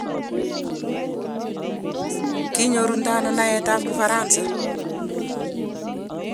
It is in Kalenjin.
koinyorunde ano naetab kifaransa?